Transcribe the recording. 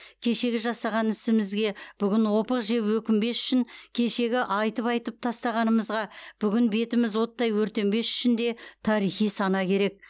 кешегі жасаған ісімізге бүгін опық жеп өкінбес үшін кешегі айтып айтып тастағанымызға бүгін бетіміз оттай өртенбес үшін де тарихи сана керек